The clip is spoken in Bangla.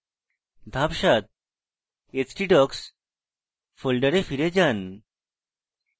ধাপ 7: htdocs ফোল্ডারে ফিরে যান